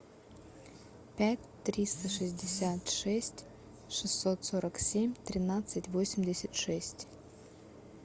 пять триста шестьдесят шесть шестьсот сорок семь тринадцать восемьдесят шесть